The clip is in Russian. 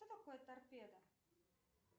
что такое торпеда